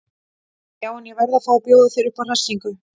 Já en. ég verð að fá að bjóða þér upp á hressingu!